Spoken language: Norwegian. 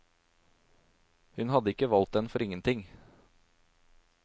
Hun hadde ikke valgt den for ingenting.